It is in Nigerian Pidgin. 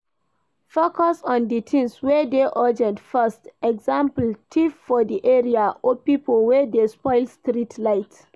Focus on di things wey dey urgent first eg thief for di area or pipo wey dey spoil street light